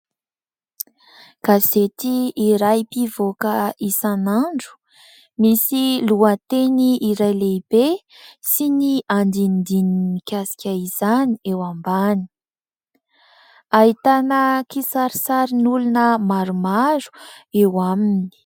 Gazety iray mpivoaka isan'andro, misy lohateny iray lehibe sy ny andinindininy mikasika izany eo ambany. Ahitana kisarisarin'olona maromaro eo aminy.